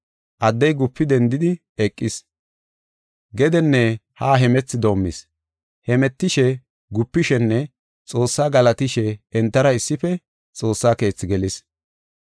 Addey gupidi dendi eqis. Gedenne haa hemethi doomis. Hemetishe, gupishenne Xoossa galatishe entara issife Xoossa Keethi gelis.